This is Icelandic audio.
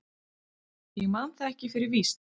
Ég man það ekki fyrir víst.